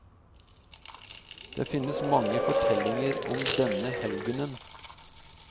Det finnes mange fortellinger om denne helgenen.